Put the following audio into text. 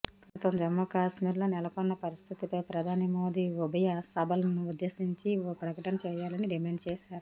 ప్రస్తుతం జమ్మూకశ్మీర్లో నెలకొన్న పరిస్థితిపై ప్రధాని మోదీ ఉభయసభలను ఉద్దేశించి ఓ ప్రకటన చేయాలని డిమాండ్ చేశారు